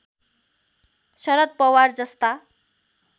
शरद पवार जस्ता